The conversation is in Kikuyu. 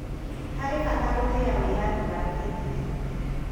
harĩ bata gũtĩya wĩyathi wa kĩndini